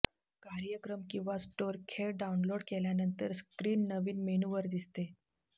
कार्यक्रम किंवा स्टोअर खेळ डाउनलोड केल्यानंतर स्क्रीन नवीन मेनू वर दिसते